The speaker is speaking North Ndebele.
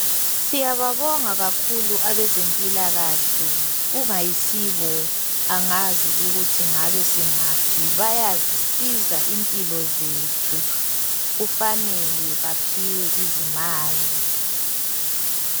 Siyabonga kakhulu abazempilakahle kungayisibo angazi ukuthi ngabe singaphi bayasisiza impilo zethu kufanele baphiwe izimali.